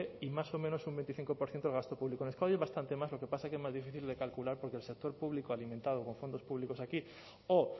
y más o menos un veinticinco por ciento del gasto público en euskadi es bastante más lo que pasa es que más difícil de calcular porque el sector público alimentado con fondos públicos aquí o